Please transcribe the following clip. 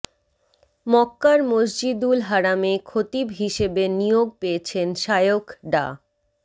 মক্কার মসজিদুল হারামে খতিব হিসেবে নিয়োগ পেয়েছেন শায়খ ডা